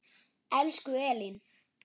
Elsku Elín.